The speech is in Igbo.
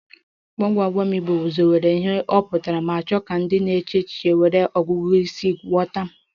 Gwam gwam gwam igbo ezowo ihe ọ pụtara ma chọọ ka ndị na-eche echiche nwere ọgụgụ isi ghọta